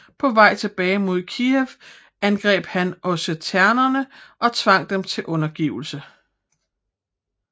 På vej tilbage mod Kijev angreb han the osseterne og tvang dem til undergivelse